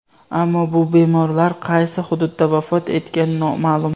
Ammo bu bemorlar qaysi hududda vafot etgani noma’lum.